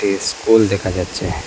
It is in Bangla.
এ স্কুল দেখা যাচ্ছে।